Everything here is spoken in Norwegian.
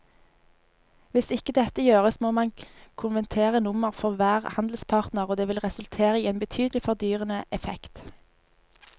Hvis ikke dette gjøres må man konvertere nummer for hver handelspartner og det vil resultere i en betydelig fordyrende effekt.